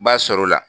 Ba sɔrɔ o la